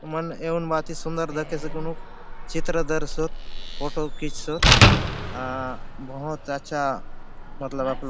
हुन मन एउन भाति सुंदर दखेसे घुनुक चित्र धरसोत फोटो खिचसोत आ बहुत अच्छा मतलब आपलो --